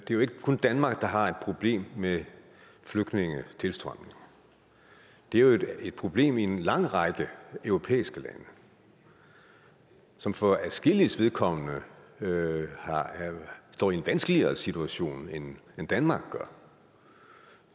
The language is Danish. jo ikke kun danmark der har et problem med flygtningetilstrømning det er et problem i en lang række europæiske lande som for adskilliges vedkommende står i en vanskeligere situation end danmark gør